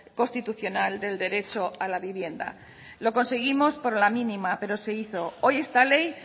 constitucional del derecho a la vivienda lo conseguimos por la mínima pero se hizo hoy esta ley